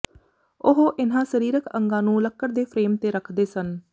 ਉਹ ਇਨ੍ਹਾਂ ਸਰੀਰਿਕ ਅੰਗਾਂ ਨੂੰ ਲੱਕੜ ਦੇ ਫਰੇਮ ਤੇ ਰੱਖਦੇ ਸਨ